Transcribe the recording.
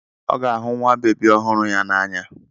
Ọ ga-ahụ nwa bebi ọhụrụ ya n'anya.